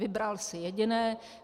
Vybral si jediné.